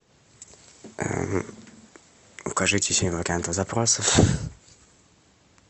укажите семь вариантов запросов